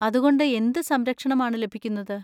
അതുകൊണ്ട് എന്ത് സംരക്ഷണം ആണ് ലഭിക്കുന്നത്?